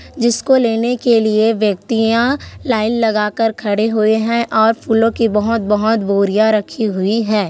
जिसको लेने के लिये व्यक्तियाँ लाइन लगा कर खड़े हुए है और फूलों की बहोत -बहोत बोरियाँ रखी हुई है।